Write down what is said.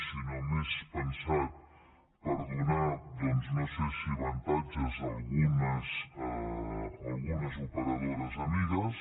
sinó més pensat per donar no sé si avantatges a algunes operadores amigues